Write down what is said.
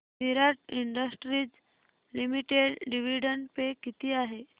विराट industries limited dividend pay किती आहे